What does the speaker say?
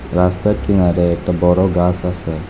রাস্তার কিনারে একটা বড় গাস আসে।